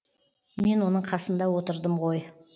мен оның қасында отырдым ғой